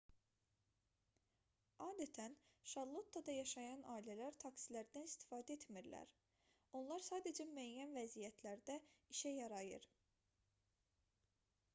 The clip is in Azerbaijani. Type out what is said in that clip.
adətən şarlottada yaşayan ailələr taksilərdən istifadə etmirlər onlar sadəcə müəyyən vəziyyətlərdə işə yarayır